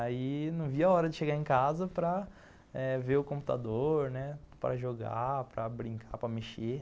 Aí não via a hora de chegar em casa para eh ver o computador, né, para jogar, para brincar, para mexer,